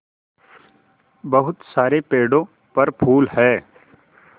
बहुत सारे पेड़ों पर फूल है